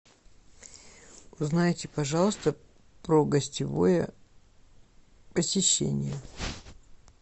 узнайте пожалуйста про гостевое посещение